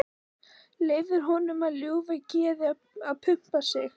Leyfir honum með ljúfu geði að pumpa sig.